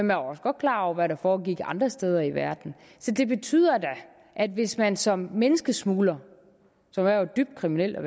var også godt klar over hvad der foregik andre steder i verden så det betyder da at hvis man som menneskesmugler som jo er et dybt kriminelt